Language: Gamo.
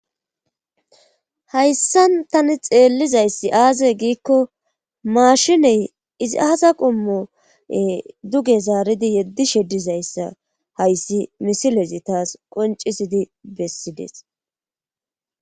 Hayssan tani xeellizayssi aazey giikko maashiney izi aaza qommoe duge zaaridi yeddi sheddizayssa hayssi misilezi taas qoncisidi bessides.